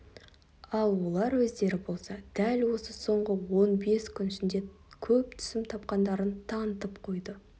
ал олар өздері болса дәл осы соңғы он бес күн ішінде көп түсім тапқандарын танытып қойды